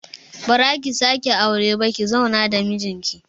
Ba zaki sake aure ba ki zauna da mijin ki